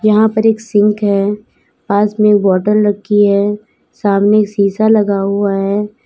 यहां पर एक सिंक है पास में बॉटल रखी है सामने शीशा लगा हुआ है।